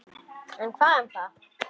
En hvað um það!